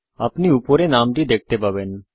আপনি উপরে নামটি দেখতে পাবেন